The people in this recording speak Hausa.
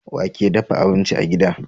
Wake dafa abinci a gida